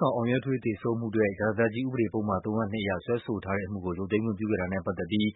ဆောင် အောင်ရဲထွေး သေဆုံးမှုအတွက် ရာဇသတ်ကြီးဥပဒေပုဒ်မ ၃၀၂ အရ စွဲဆိုထားတဲ့အမှုကို ရုပ်သိမ်းခွင့်ပြုခဲ့ တာနဲ့ပတ်သက်ပြီး